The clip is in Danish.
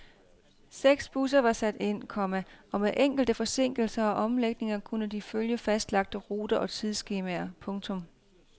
Seks busser var sat ind, komma og med enkelte forsinkelser og omlægninger kunne de følge fastlagte ruter og tidsskemaer. punktum